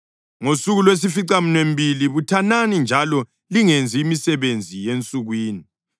Ngosuku lwesificaminwembili buthanani njalo lingenzi imisebenzi yensukwini.